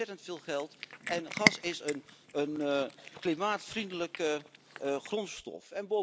Dat kost ontzettend veel geld en gas is een klimaatvriendelijke grondstof.